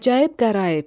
Əcaib qəraib.